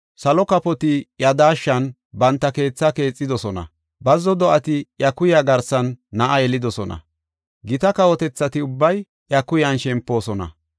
Salo kafoti iya daashshan banta keethaa keexidosona; bazzo do7ati iya kuya garsan na7a yelidosona; gita kawotethati ubbay iya kuyan shempoosona.